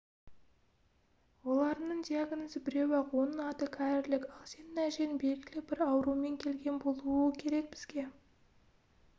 оларыңның диагнозы біреу-ақ оның аты кәрілік ал сенің әжең белгілі бір аурумен келген болуы керек бізге